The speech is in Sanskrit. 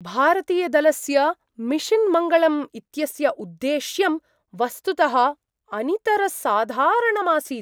भारतीयदलस्य मिशन् मङ्गलम् इत्यस्य उद्द्देश्यं वस्तुतः अनितरसाधारणमासीत्!